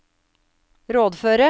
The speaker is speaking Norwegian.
rådføre